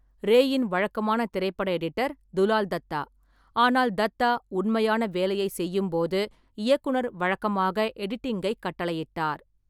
ரேயின் வழக்கமான திரைப்பட எடிட்டர் துலால் தத்தா, ஆனால் தத்தா உண்மையான வேலையைச் செய்யும்போது இயக்குனர் வழக்கமாக எடிட்டிங்கைக் கட்டளையிட்டார்.